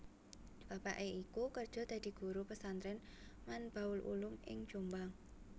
Bapake iku kerja dadi Guru Pesantren Manbaul Ulum ing Jombang